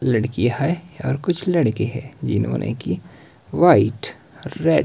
लड़कियां है और कुछ लड़के हैं जिन्होंने की व्हाइट रेड --